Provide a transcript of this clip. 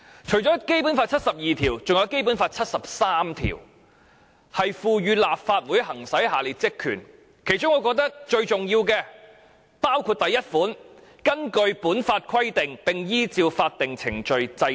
除了《基本法》第七十二條，還有第七十三條賦予立法會行使下列職權，我覺得其中最重要的一項是第一款："根據本法規定並依照法定程序制定......